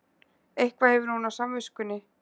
Eitthvað hefur hún á samviskunni.